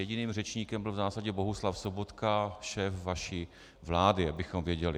Jediným řečníkem byl v zásadě Bohuslav Sobotka, šéf vaší vlády, abychom věděli.